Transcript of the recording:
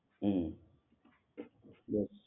હમ